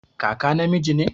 Kaka namiji ne